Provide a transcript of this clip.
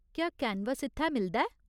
क्या कैनवस इत्थै मिलदा ऐ ?